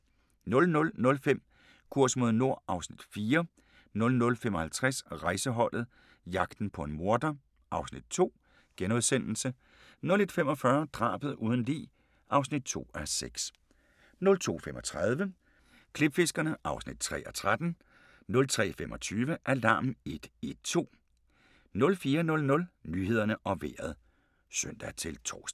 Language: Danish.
00:05: Kurs mod nord (Afs. 4) 00:55: Rejseholdet - jagten på en morder (Afs. 2)* 01:45: Drabet uden lig (2:6) 02:35: Klipfiskerne (3:13) 03:25: Alarm 112 04:00: Nyhederne og Vejret (søn-tor)